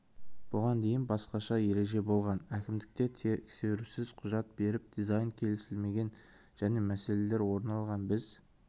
бұған дейін басқаша ереже болған әкімдікте тексерусіз құжат беріп дизайн келісілмеген және мәселелер орын алған біз